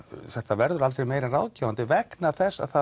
þetta verður aldrei meira en ráðgefandi vegna þess að það